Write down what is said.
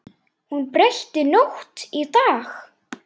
Hún breytti nótt í dag.